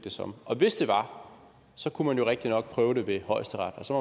som og hvis det var kunne man jo rigtig nok prøve det ved højesteret og så